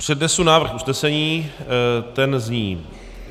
Přednesu návrh usnesení, ten zní...